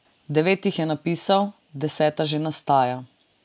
Devet jih je napisal, deseta že nastaja.